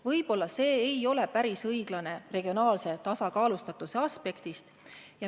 Võib-olla ei ole see regionaalse tasakaalustatuse aspektist päris õiglane.